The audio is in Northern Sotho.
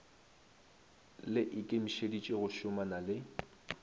le ikemišetše go šomana le